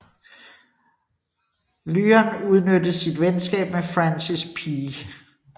Lyon udnyttede sit venskab med Francis P